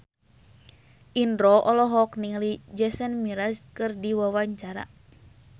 Indro olohok ningali Jason Mraz keur diwawancara